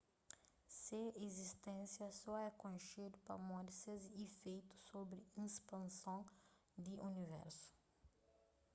se izisténsia so é konxedu pamodi ses ifeitu sobri ispanson di universu